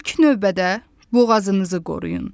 İlk növbədə boğazınızı qoruyun.